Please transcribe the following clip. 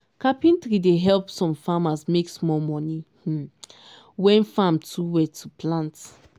carpentry dey help some farmers make small um money when farm too wet to plant.